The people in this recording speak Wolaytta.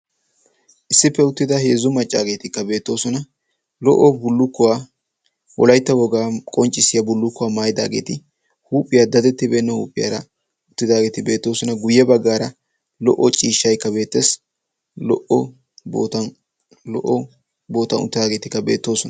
issi uttida heezzu maccaageeti beettoosona. lo''o bullukuwa wolaytta wogaa qonccissiya bullukkuwa maayidaageeti huuphiyaa daddettibeena huuphiyaara uttidaageeti beettoosona. guyye baggaara lo''o ciishshaykka lo''o boottan lo''o boottan uttaageetikka beettoosona.